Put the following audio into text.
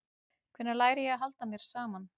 Hvenær læri ég að halda mér saman?